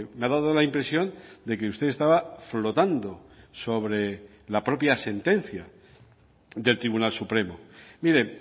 me ha dado la impresión de que usted estaba flotando sobre la propia sentencia del tribunal supremo mire